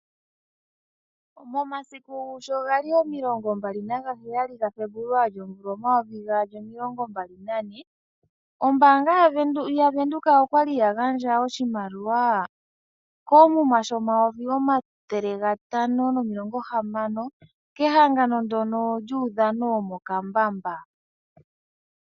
Momasiku sho gali omilongo mbali nagaheyali gaFebuluali omvula omayovi gaali omilongo mbali nane ombaanga yavenduka okwa li ya gandja oshimaliwa koomuma shoodola dhaNamibia omayovi omathele gatano nomilongo hamano kehangano ndyono lyuudhano womokambamba.